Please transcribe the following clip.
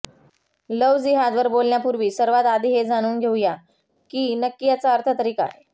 love जिहादवर बोलण्यापूर्वी सर्वात आधी हे जाणून घेऊ या की नक्की याचा अर्थ तरी काय